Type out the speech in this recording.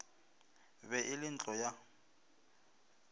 be e le ntlo ya